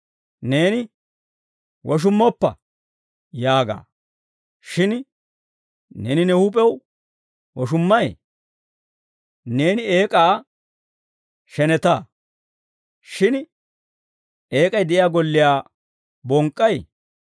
Neeni, «Woshummoppa» yaaga. Shin neeni ne huup'ew woshummay? Neeni eek'aa sheneta. Shin eek'ay de'iyaa golliyaa bonk'k'ay?